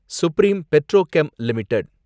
supreme Petrochem limited